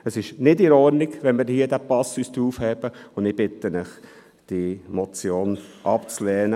Es ist nicht in Ordnung, wenn wir diesen Passus aufheben, und ich bitte Sie, diese Motion abzulehnen.